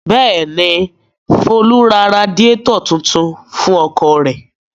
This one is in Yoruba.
Bẹ́ẹ̀ ni, Folú ra radiátọ̀ tuntun fún ọkọ̀ rẹ̀.